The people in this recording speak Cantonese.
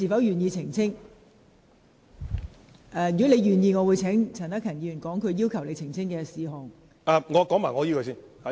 如果你願意，我會請陳克勤議員指出他要求你澄清的事項。